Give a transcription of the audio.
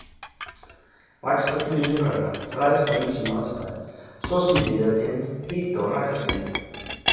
Vaxtartími lirfanna ræðst af ýmsum aðstæðum, svo sem viðartegund, hita- og rakastigi.